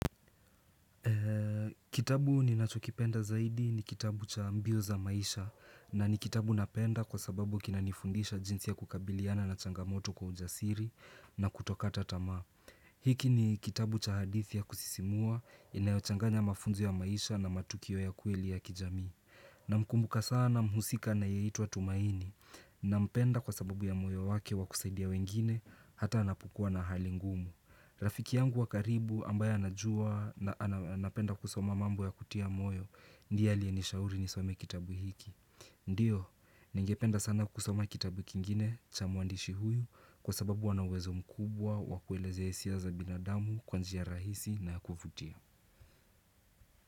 Kitabu ninachokipenda zaidi ni kitabu cha mbiu za maisha. Na ni kitabu napenda kwa sababu kinanifundisha jinsi ya kukabiliana na changamoto kwa ujasiri na kutokata tamaa hiki ni kitabu cha hadithi ya kusisimua inayochanganya mafunzo ya maisha na matukio ya kweli ya kijami Namkumbuka sana mhusika anayeitwa tumaini Nampenda kwa sababu ya moyo wake wa kusaidia wengine hata anapokua na hali ngumu. Rafiki yangu wa karibu ambaye anajua na anapenda kusoma mambo ya kutia moyo ndiye aliye nishauri nisome kitabu hiki Ndiyo, ningependa sana kusoma kitabu kingine cha mwandishi huyu Kwa sababu ana uwezo mkubwa wakuelezea hisia za binadamu kwa njia rahisi na kuvutia.